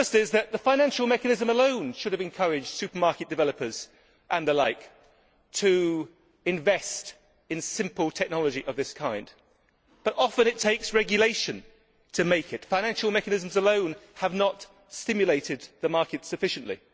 The first is that the financial mechanism alone should have encouraged supermarket developers and the like to invest in simple technology of this kind, but often it takes regulation to make it financial mechanisms alone have not stimulated the market sufficiently.